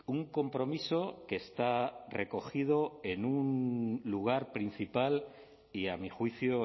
un compromiso que está recogido en un lugar principal y a mi juicio